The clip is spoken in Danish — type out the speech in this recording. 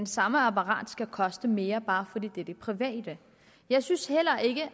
samme apparat skal koste mere bare fordi det er i det private jeg synes heller ikke